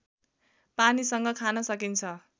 पानीसँग खान सकिन्छ